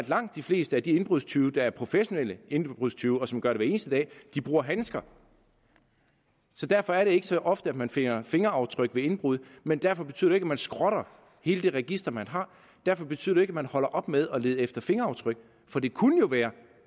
langt de fleste af de indbrudstyve der er professionelle indbrudstyve og som gør det hver eneste dag bruger handsker derfor er det ikke så ofte at man finder fingeraftryk ved indbrud men derfor betyder ikke man skrotter hele det register man har og derfor betyder det ikke at man holder op med at lede efter fingeraftryk for det kunne jo være